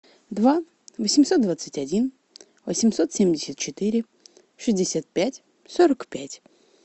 два восемьсот двадцать один восемьсот семьдесят четыре шестьдесят пять сорок пять